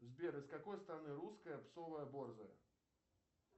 сбер из какой страны русская псовая борзая